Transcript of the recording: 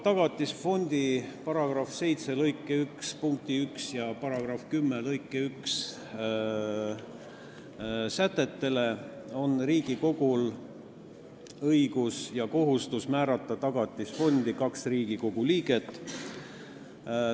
Tagatisfondi seaduse § 7 lõike 1 punkti 1 ja § 10 lõike 1 sätete alusel on Riigikogul õigus ja kohustus määrata Tagatisfondi nõukogusse kaks Riigikogu liiget.